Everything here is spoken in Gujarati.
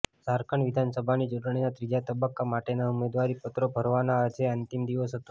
ઝારખંડ વિધાનસભાની ચૂંટણીના ત્રીજા તબક્કા માટેના ઉમેદવારી પત્રો ભરવાનો આજે અંતિમ દિવસ હતો